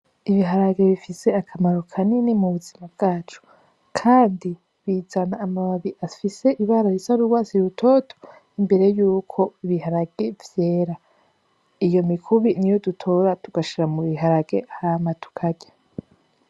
Ibiharage bifise akamaro kanini mu buzima bwacu, kandi bizana amababi afise ibara risa n'urwatsi rutoto imbere yuko ibiharage vyera iyo mikubi niyo dutora tugashira mu biharage hama tukarya.